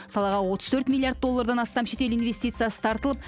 салаға отыз төрт миллиард доллардан астам шетел инвестициясы тартылып